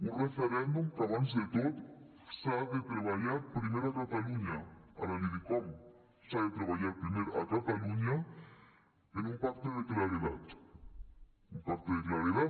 un referèndum que abans de tot s’ha de treballar primer a catalunya ara li dic com s’ha de treballar primer a catalunya en un pacte de claredat un pacte de claredat